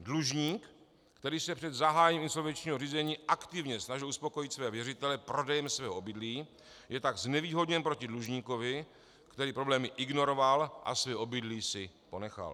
Dlužník, který se před zahájením insolvenčního řízení aktivně snažil uspokojit své věřitele prodejem svého obydlí, je tak znevýhodně proti dlužníkovi, který problémy ignoroval a své obydlí si ponechal.